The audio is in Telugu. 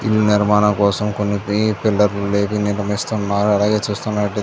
ఇది నిర్మాణం కోసం కొన్ని పీ పిల్లర్లు నిర్మిస్తున్నారు. అలాగే చూస్తున్నట్ల--